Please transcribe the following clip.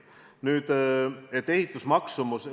Nüüd ehitusmaksumusest.